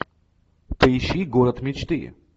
поищи город мечты